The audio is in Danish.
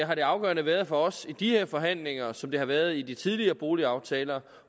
har det afgørende været for os i de her forhandlinger som det har været i de tidligere boligaftaler